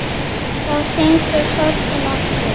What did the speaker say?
Þá stingur sorgin aftur.